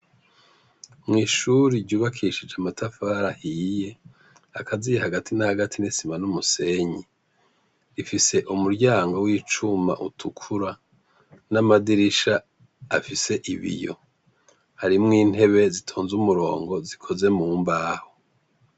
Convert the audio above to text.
Mw'ishure ryubakishije amatafari ahiye, hakaziye hagati na hagati n'isima n'umusenyi ,ifise umuryango w'icuma utukura n'amadirisha afise ibiyo. Harimwo intebe zitonze umurongo. zikozwe mu mbaho.